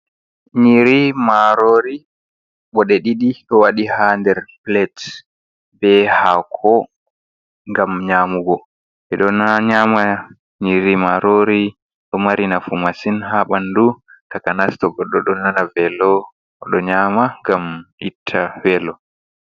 Nyiri marori ɓoɗe ɗiɗi, ɗo waɗi ha nder Pilet be hako ngam Nyamugo. eɗo nyama nyiri Marori ɗo mari nafu Masin ha ɓandu takanas to Godɗo ɗo Nana velo. oɗo nyama ngam itta velo.